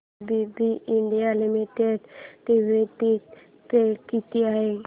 ABB India limited dividend pay किती आहे